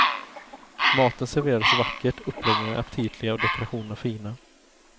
Maten serveras vackert, uppläggningarna är aptitliga och dekorationerna fina.